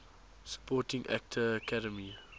supporting actor academy